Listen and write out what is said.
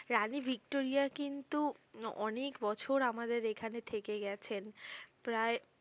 রানী Victoria কিন্তু অনেক বছর আমাদের এখানে থেকে গেছেন প্রায়